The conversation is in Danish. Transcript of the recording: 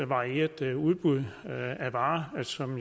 varieret udbud af varer som